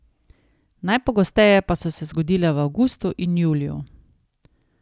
Najpogosteje pa so se zgodile v avgustu in juliju.